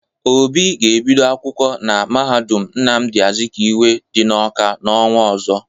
Obi ga-ebido akwụkwọ na mahadum Nnamdị Azikiwe dị n'Ọka n'ọnwa ọzọ.